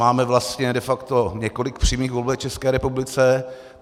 Máme vlastně de facto několik přímým voleb v České republice.